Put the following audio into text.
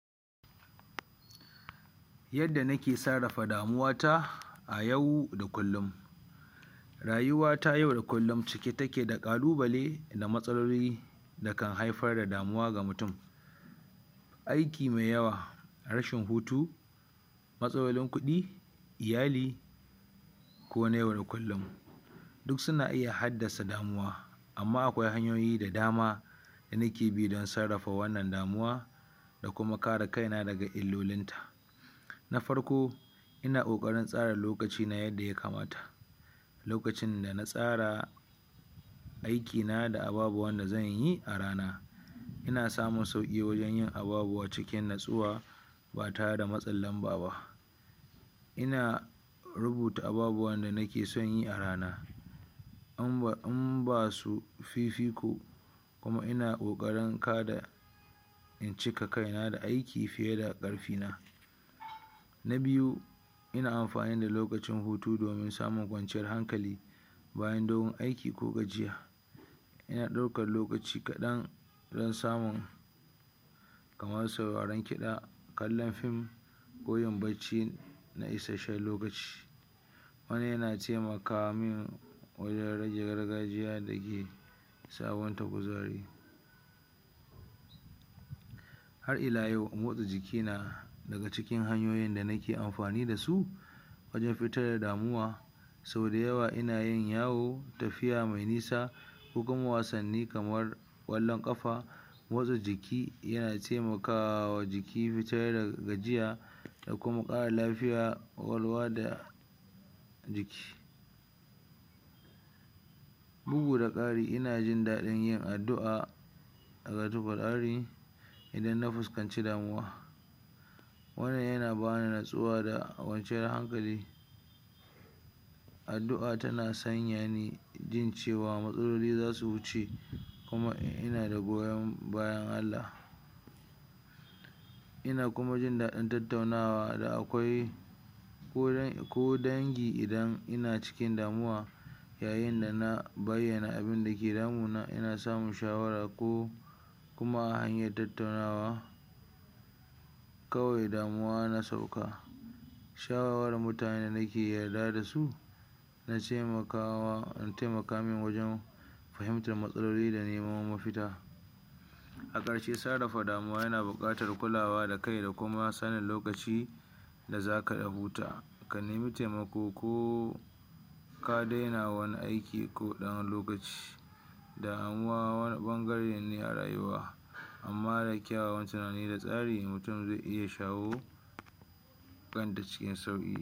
Yadda nike sarrafa damuwata a yau da kullum rayuwa ta yau da kullum cike take da ƙalubale da matsaloli da kan haifar da muwa ga mutum aiki mai yawa rashin hutu matsalolin kuɗi iyali ko na yau da kullum duk suna iya haddasa damuwa, amma akwai hanyoyi da dama da nike bi don sarrafa wanna damuwa da kuma kare jkai daga illolinta na farko ina ƙoƙarin tsara lokaci na yadda ya kamata lokacin da na tsara aikina da ababuwan da zan yi a rana ina samun sauƙi wajen yin ababuwa cikin natsuwa ba tare da matsin lamba ba. ina rubuta ababuwan da nike son yi a rana in ba in ba su fifiko kuma ina ƙoƙarin kada in cika kaina da aiki fiye da ƙarfina na biyu ina amfani da lokacin hutu domin samun kwanciyar hankali bayan dogon aiki ko gajiya ina ɗaukar lokaci kaɗan don samu kamar sauraren kiɗa kallon fiim k oyin bacci na isasshen lokaci wannan yana taimaka man wajen rage gargajiya da ke sabunta kuzari hai ila yau motsa jiki yana daga cikin hanyoyin da nike amfani da su wajen fitar da damuwa sau da yawa ina yin yawa tafiya mai nisa ko kuma wasanni kamar ƙallon ƙafa motsa jiki yana taimaka wa jiki wajen fitar da gajiya da kuma ƙara lafyar ƙwaƙwalwa da kuma Bugu da ƙara ina jin daɗin yin addu'a karatun Ƙur'ani idan na fuskanci damuwa wannan yana ba ni nutsuwa da kwanciyar hankali addu'a tana sanya ni jin cewar matsaloli za su wuce kuma ina da goyon bayan Allah ina kuma jin daɗin tattaunawa da akwai ko ya ko dangi idan ina cikin damuwa yayin da na bayyana abun da ke damuna ina samun shawara ko kuma hanyar tattaunawa kawai damuwa na sauka shawarwarin mutanen da muke yadda da su na taimakawa na taimaka min fahimtar matsaloli da neman mafita a ƙarshe sarrafa damuwa yana buƙatar kulawa da kai da kuma kulawa da za kai abota, ka nemi taimako ko ka daina wani aiki ko ɗan wani lokaci damuwa wani ɓangare ne a rayuwa amma da kyawawan tunani da tsari mutum zai iya shawo kanta cikin sauƙi.